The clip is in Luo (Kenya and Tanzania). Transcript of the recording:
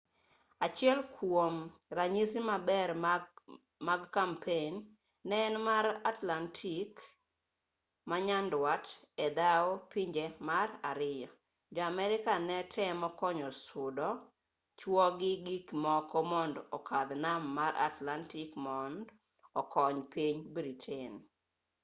achiel kuom ranyisi maber mag kampein ne en mar atlantic manyandwat edhao pinje mar ariyo jo america ne temo konyo sudo chuo gi gik moko mond okadh nam mar atlantic mond okony piny britain